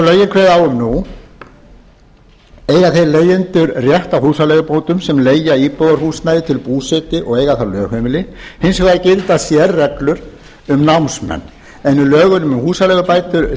kveða á um nú eiga þeir leigjendur rétt á húsaleigubótum sem leigja íbúðarhúsnæði til búsetu og eiga þar lögheimili hins vegar gilda sérreglur um námsmenn en í lögunum um húsaleigubætur